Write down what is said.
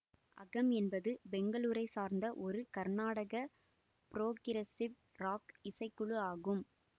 அகம் என்பது பெங்களூரை சார்ந்த ஒரு கர்நாடக புரோகிரசிவ் ராக் இசைக்குழு ஆகும்